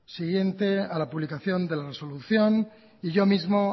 siguiente a la publicación de la resolución y yo mismo